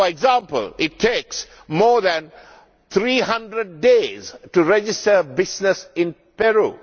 For example, it takes more than 300days to register a business in Peru.